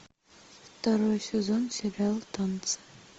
второй сезон сериал танцы